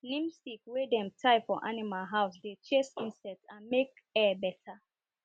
neem stick wey dem tie for animal house dey chase insect and make air better